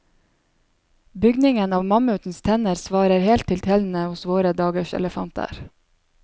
Bygningen av mammutenes tenner svarer helt til tennene hos våre dagers elefanter.